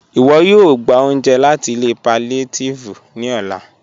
Iwọ̀ yóò gbà ọ̀unje láti ilẹ̀ pàllíàtívì ní ọ̀là